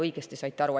Õigesti saite aru.